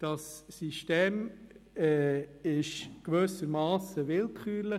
Das System ist gewissermassen willkürlich.